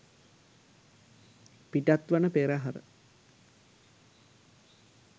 පිටත්වන පෙරහර